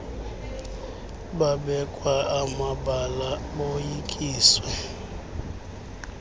babekwa amabala boyikiswe